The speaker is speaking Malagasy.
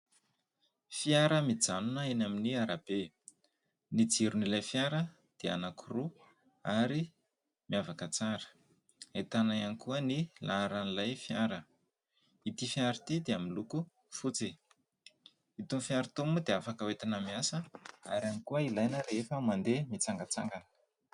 Fiara mijanona eny amin'ny arabe ny jiron'ilay fiara dia anaky roa ary miavaka tsara, ahitana iankoa ny laharan'ilay fiara. Ity fiara ity dia miloko fotsifotsy itony fiara itony moa dia afaka hoetana miasa ary ihany koa ilaina rehefa mandeha mitsangatsangana.